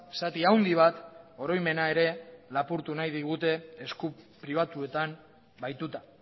zati handi bat oroimena ere lapurtu nahi digute esku pribatuetan bahituta